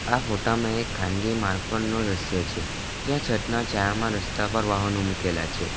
આ ફોટા માં એક ખાનગી માર્ગ પરનું દ્રશ્ય છે જ્યાં છતના જાડામાં રસ્તા પર વાહનો મુકેલા છે.